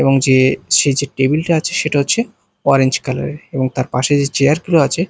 এবং যে সেই যে টেবিল -টা আছে সেটা হচ্ছে অরেঞ্জ কালার -এর এবং তার পাশে যে চেয়ার -গুলো আছে--